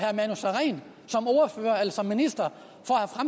som minister